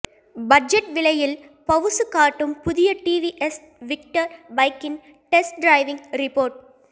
budget விலையில் பவுசு காட்டும் புதிய டிவிஎஸ் விக்டர் பைக்கின் டெஸ்ட் டிரைவ் ரிப்போர்ட்